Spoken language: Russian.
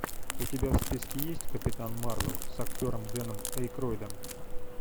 у тебя в списке есть капитан марвел с актером дэном эйкройдом